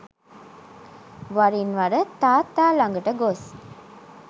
වරින් වර තාත්තා ළඟට ගොස්